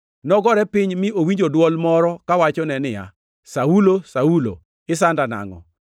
Nogore piny, mi owinjo dwol moro kawachone niya, “Saulo, Saulo, isanda nangʼo?”